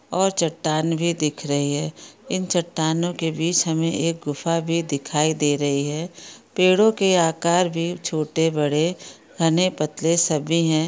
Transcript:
और चट्टान भी दिख रही है इन चट्टानों के बीच हमे एक गुफा भी दिखाई दे रही है पेड़ों के आकार भी छोटे बड़े घने पतले सभी है।